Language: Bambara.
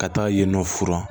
Ka taa yen nɔ furan